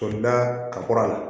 Tolida ka kɔrɔ a la